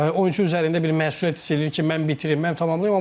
oyunçu üzərində bir məsuliyyət hiss eləyir ki, mən bitirim, mən tamamlayım,